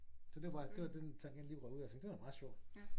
Så det var bare det var den tangent jeg lige røg ud af jeg tænkte det var da meget sjovt